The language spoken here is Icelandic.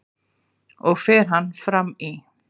og fer hann fram í